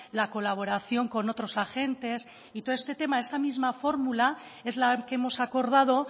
la colaboración con otros agentes y todo este tema esa misma fórmula es la que hemos acordado